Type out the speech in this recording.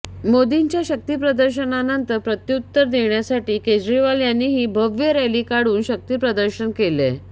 मोदींच्या शक्तिप्रदर्शनानंतर प्रत्युत्तर देण्यासाठी केजरीवाल यांनीही भव्य रॅली काढून शक्तिप्रदर्शन केलंय